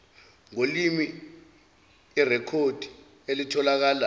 ngolimi irekhodi elitholakala